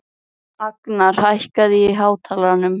Agnar, hækkaðu í hátalaranum.